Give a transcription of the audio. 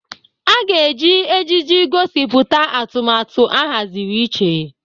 A ga-eji ejiji gosipụta atụmatụ ahaziri iche.